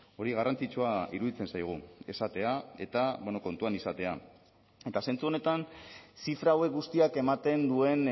hori garrantzitsua iruditzen zaigu esatea eta kontuan izatea eta zentzu honetan zifra hauek guztiak ematen duen